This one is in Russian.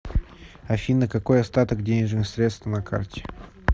афина какой остаток денежных средств на карте